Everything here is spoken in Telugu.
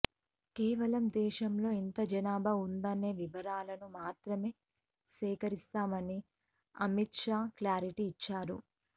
కేవలం దేశంలో ఎంత జనాభా ఉందనే వివరాలను మాత్రమే సేకరిస్తామని అమిత్ షా క్లారిటీ ఇచ్చారు